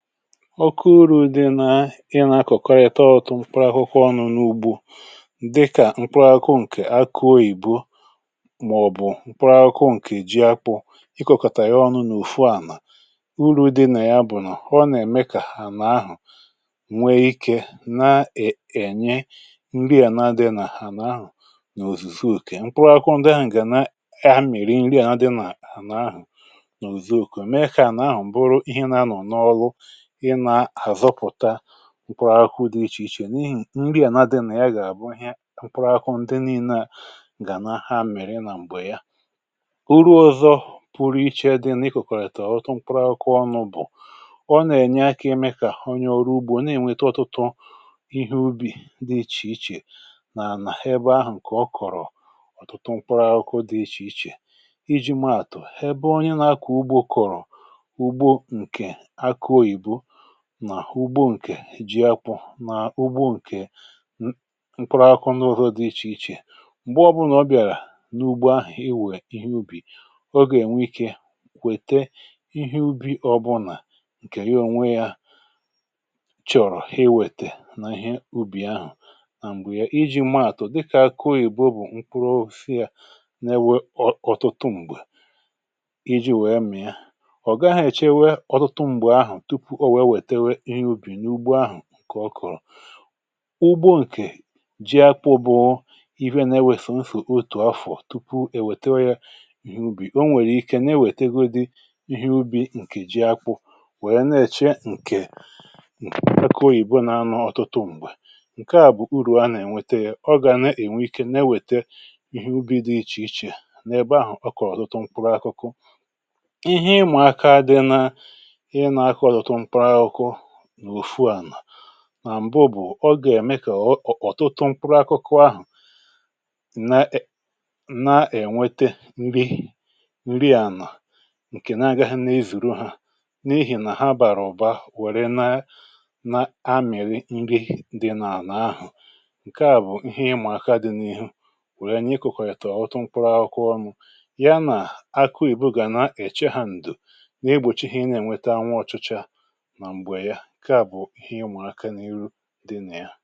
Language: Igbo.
ọke uru̇ dị nà ị na-akọ̀kọ rịta ihe otu mkpụrụakụkụ ọnụ̇ n’ugbu dịkà mkpụrụakụ ǹkè akụọ ìboò màọ̀bụ̀ mkpụrụakụ ǹkè ji akpụ ịkọ̀kọ̀tà ya ọnụ n’ùfu ànà urù dị nà ya bụ̀ nà ọ nà-ème kà hà n’ahụ nwee ikė na-ènye m̀ri ànà adị̇ nà hà n’ahụ n’òzùsi òkè mkpụrụakụ ndị ahụ̀ gà na ya hȧ mìrì m̀ri ànà dị n’àhụ n’òzù òkù mee kà ànà ahụ m̀bụrụ ihe na-anọ̀ n’ọlụ mụpụrụ akwụ dị ichè ichè n’ihi nri ànà dị nà ya gà-àbụ ihe mụpụrụ akwụ ndị nii̇nė gà na ha mèrè nà m̀gbè ya uru ọzọ pụrụ iche dịna ị kòkòkè àtà ọ̀tụ mụpụrụ akwụ ọnụ̇ bụ̀ ọ nà-ènye akȧ imė kà onye ọrụ ugbȯ nà-ènweta ọtụtụ ihe ubì dị ichè ichè nà nà ebe ahụ̀ ǹkè ọ kọ̀rọ̀ ọ̀tụtụ mụpụrụ akwụ dị ichè ichè iji̇ maàtụ̀ ebe onye nȧ-ȧkọ̀ ugbȯ kọ̀rọ̀ nà ugbo ǹkè ji akpụ̇ na ugbo ǹkè mkpụrụ akụ̇ n’ụzọ dị̇ ichè ichè m̀gbe ọbụlà ọ bịàrà n’ugba iwè ihe ubì ọ gà-ènwe ikė kwète ihe ubi̇ ọbụlà ǹkè onwe yȧ chọ̀rọ̀ iwètè n’ihe ubì ahụ̀ à m̀gbè ya iji̇ maàtụ̀ dịkà akụị̀ ǹkèrọfe nà-ewè ọtụtụ m̀gbè iji̇ wèe mị̀a ọ̀ gaghị̇ èchewe ọtụtụ m̀gbè ahụ̀ ǹkè ọ kọ̀rọ̀ ugbo ǹkè ji akpụ̇ bụ ife nà-eweshè m fụ̀ otù afọ̀ tupu è wète ya ìhè ubì o nwèrè ikė nà-ewètėgodi ihe ubì ǹkè ji akpụ̇ wèe nà-èchee ǹkè akà oyìbo nȧ-anọ ọ̀tụtụ m̀gbè ǹkè a bụ̀ urù a nà-ènwete yȧ ọ gà na-ènwe ike nà-ewète ihe ubì dị ichè ichè nà-èbe ahụ̀ ọ kọ̀rọ̀ ọtụtụ mkpụrụ akụkụ mà m̀bu bụ̀ ọ gà ème kà ọ̀tụtụ mkpuru akụkụ ahụ̀ na-ènwete nri nri ànà ǹkè na-agaghị nnezùro hȧ n’ihì nà ha bàrà ọ̀ba wère na na-amịrị nri dị n’àlà ahụ̀ ǹkè a bụ̀ ihe ịmụ̇ aka dị n’ihu wèe nye iku̇kù ètù ọ̀ otu mkpuru akụkụ ọmù ya nà akụ ìbụ̀gà nà-èche ha ǹdù n’igbòchighi ị na-ènweta anwụ ọchụcha ǹke à bụ̀ ihe m̀ụaka n’ihu dị nà ya